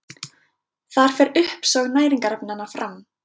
Þar fer uppsog næringarefnanna fram.